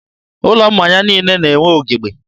ụlọ mmanya niile na+enwe ugebe.